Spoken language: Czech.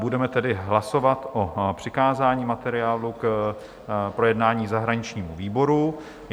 Budeme tedy hlasovat o přikázání materiálu k projednání zahraničnímu výboru.